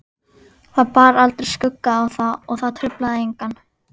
Það bar aldrei skugga á það og það truflaði engan.